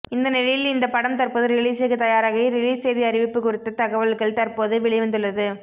இந்த நிலையில் இந்த படம் தற்போது ரிலீசுக்கு தயாராகி ரிலீஸ் தேதி அறிவிப்பு குறித்த தகவல்கள் தற்போது வெளிவந்துள்ளது